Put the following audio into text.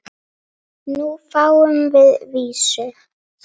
Nú fáum við vísu?